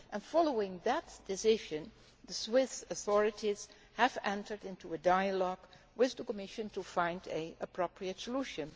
Following that decision, the Swiss authorities have entered into a dialogue with the Commission to find an appropriate solution.